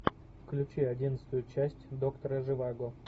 включи одиннадцатую часть доктора живаго